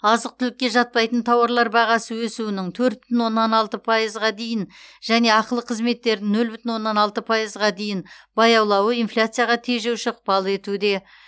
азық түлікке жатпайтын тауарлар бағасы өсуінің төрт бүтін оннан алты пайызға дейін және ақылы қызметтердің нөл бүтін оннан алты пайызға дейін баяулауы инфляцияға тежеуші ықпал етуде